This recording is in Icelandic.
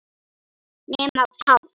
Nema Páll.